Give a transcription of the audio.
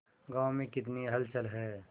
गांव में कितनी हलचल है